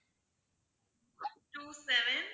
two seven